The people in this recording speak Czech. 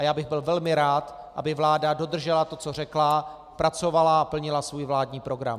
A já bych byl velmi rád, aby vláda dodržela to, co řekla, pracovala a plnila svůj vládní program.